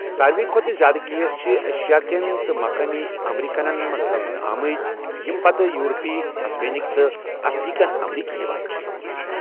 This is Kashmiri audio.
ساروٕے كھوتہٕ زیادٕ كیس چھِ ایشیا كین تہٕ مقٲمی امریكنن منز لبنہٕ آمٕتۍ، ییٚمہِ پتہٕ یورپی ، ہِسپینِک تہٕ افریكن امریكی یوان چھِ ۔